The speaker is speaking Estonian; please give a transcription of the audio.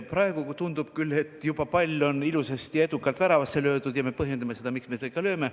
Praegu tundub küll, et pall on juba ilusasti ja edukalt väravasse löödud ja me põhjendame seda, miks me seda tegime.